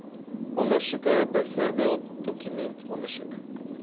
ondersoeke byvoorbeeld dokumentondersoek